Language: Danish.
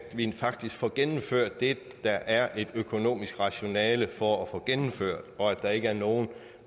vi faktisk får gennemført det der er et økonomisk rationale for at få gennemført og at der ikke er nogen